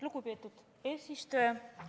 Lugupeetud eesistuja!